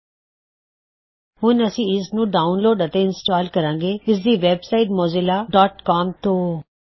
000332 000310 ਹੁਣ ਅਸੀਂ ਇਸਨੂੰ ਡਾਉਨਲੋਡ ਅਤੇ ਇੰਸਟਾਲ ਕਰਾਂਗੇ ਇਸਦੀ website Mozilla dot com mozillaਸੀਓਐਮ ਤੋਂ